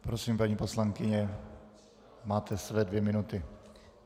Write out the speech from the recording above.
Prosím, paní poslankyně, máte své dvě minuty.